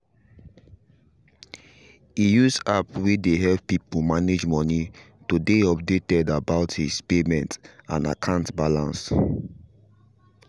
he use app way dey help people manage money to dey updated about his payment and akant balance